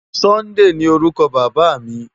Sunday ni órúkò Baba mi